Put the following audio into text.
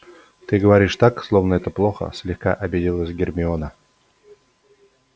ты говоришь так словно это плохо слегка обиделась гермиона